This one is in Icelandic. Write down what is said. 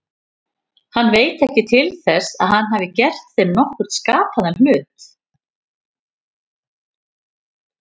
Hann veit ekki til þess að hann hafi gert þeim nokkurn skapaðan hlut.